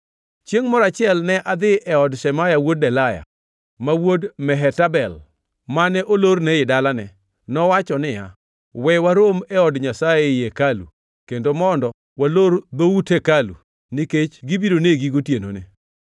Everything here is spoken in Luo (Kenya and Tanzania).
Chiengʼ moro achiel ne adhi e od Shemaya wuod Delaya, ma wuod Mehetabel, mane olorne ei dalane. Nowacho niya, “We warom e od Nyasaye, ei hekalu, kendo mondo walor dhout hekalu, nikech gibiro negi gotienoni.”